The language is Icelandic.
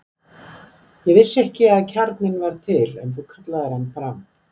Ég vissi ekki að kjarninn var til, en þú kallaðir hann fram.